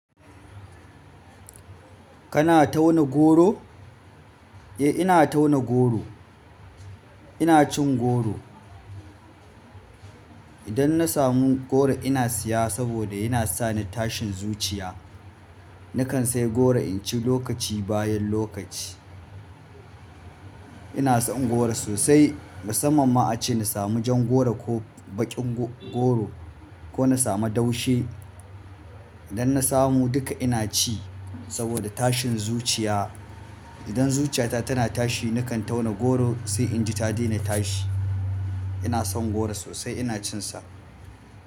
Kana tauna goro? Eh, ina tauna goro. Ina cin goro. Idan na samu goro ina siya saboda yana sa ni tashin zuciya. Nakan sai goro in ci lokaci bayan lokaci. Ina son goro sosai. Musamman ma ace na samu jan goro ko baƙin go-goro ko na samu daushe. Idan na samu duka ina ci saboda tashin zuciya. Idan zuciya na tana tashi nakan tauna goro sai in ji ta daina tashi. Ina son goro sosai ina cin sa.